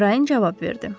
Əmrayin cavab verdi.